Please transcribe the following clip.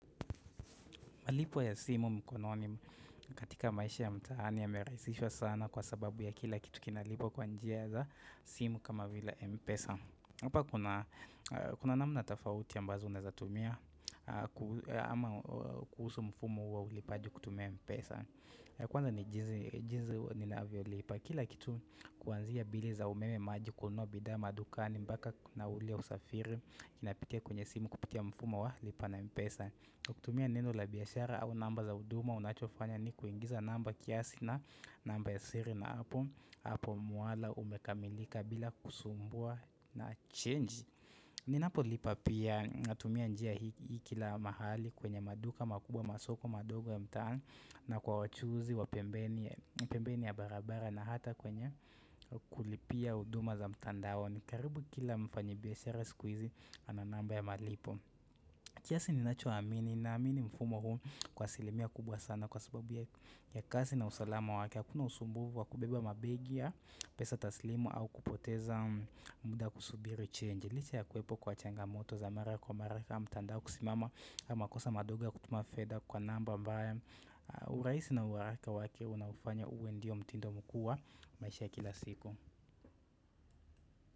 Malipo ya simu mkono katika maisha ya mtaani yamerahisishwa sana kwa sababu ya kila kitu kinalipwa kwa njia za simu kama vile mpesa. Hapa kuna namna tofauti ambazo unaeza tumia ama kuhusu mfumo wa ulipaji kutumia mpesa. Kwanza ni jinsi ninaavyolipa. Kila kitu kuanzia bili za umeme maji kununua bidhaa madukani mpaka na ule usafiri kinapitia kwenye simu kupitia mfumo wa lipa na mpesa. Kutumia neno la biashara au namba za huduma unachofanya ni kuingiza namba kiasi na namba ya siri na hapo hapo mwala umekamilika bila kusumbua na change Ninapolipa pia natumia njia hii kila mahali kwenye maduka makubwa masoko madogo ya mtaani na kwa wachuuzi wa pembeni ya barabara na hata kwenye kulipia huduma za mtandaoni karibu kila mfanyibiashara siku hizi ananamba ya malipo kiasi ninachoamini naamini mfumo huu kwa asilimia kubwa sana kwa sababu ya kasi na usalama wake Hakuna usumbufu wa kubeba mabegi ya pesa taslimu au kupoteza muda kusubiri change liche ya kuwepo kwa changamoto za mara kwa mara kama mtandao kusimama ama makosa madogo ya kutuma fedha kwa namba ambayo urahisi na uharaka wake unaufanya uwe ndio mtindo mkuu wa maisha ya kila siku.